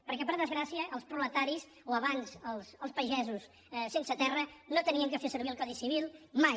perquè per desgràcia els proletaris o abans els pagesos sense terra no havien de fer servir el codi civil mai